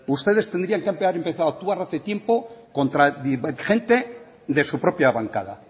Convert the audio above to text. ustedes tendrían que haber empezado a actuar hace tiempo contra gente de su propia bancada